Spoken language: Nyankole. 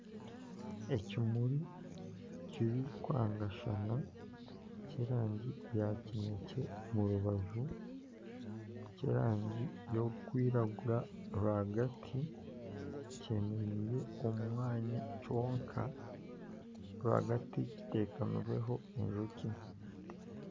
Ekimuri kirikwangashana, ky'erangi ya kinekye omu rubaju, ky'erangi y'okwiragura rwahagati kyemereire omu mwanya kyonka rwagati kitekamirweho enjoki